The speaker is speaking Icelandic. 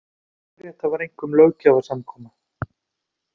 Lögrétta var einkum löggjafarsamkoma.